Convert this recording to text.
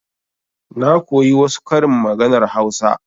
Na koyi wasu karin maganar hausa.